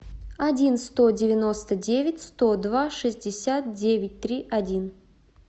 один сто девяносто девять сто два шестьдесят девять три один